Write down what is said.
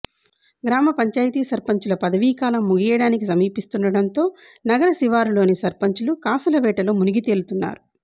గ్రామ పంచాయతీ సర్పంచ్ల పదవీకాలం ముగియడానికి సమీపిస్తుండటంతో నగర శివారులోని సర్పంచ్లు కాసుల వేటలో మునిగితేలుతున్నారు